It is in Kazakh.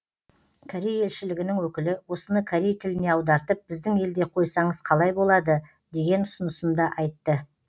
корей елшілігінің өкілі осыны корей тіліне аудартып біздің елде қойсаңыз қалай болады деген ұсынысын да айтты